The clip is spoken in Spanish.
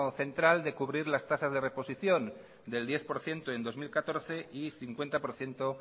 central de cubrir las tasas de reposición del diez por ciento en dos mil catorce y cincuenta por ciento